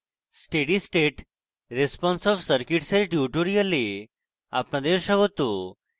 steady state response of circuits এর tutorial আপনাদের স্বাগত